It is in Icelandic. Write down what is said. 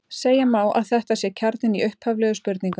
Segja má að þetta sé kjarninn í upphaflegu spurningunni!